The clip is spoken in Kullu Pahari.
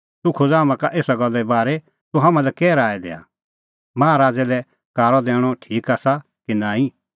तूह खोज़ हाम्हां का एसा गल्ला बारै तूह हाम्हां लै कै राऐ दैआ माहा राज़ै लै कारअ दैणअ ठीक आसा कि नांईं